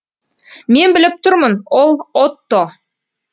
мен біліп тұрмын ол отто